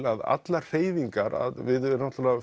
að allar hreyfingar við förum náttúrulega